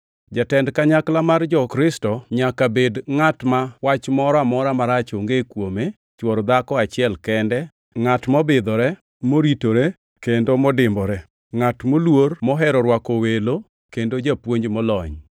Jatend kanyakla mar jo-Kristo nyaka bed ngʼat ma wach moro amora marach onge kuome, chwor dhako achiel kende, ngʼat mobidhore, moritore, kendo modimbore, ngʼat moluor, mohero rwako welo kendo japuonj molony,